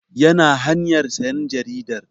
Yana hanyar sayan jaridar